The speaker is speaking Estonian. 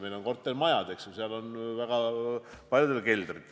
Meil on väga paljudes kortermajades ju keldrid.